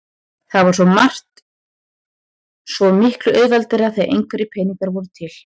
Það var svo margt svo miklu auðveldara þegar einhverjir peningar voru til.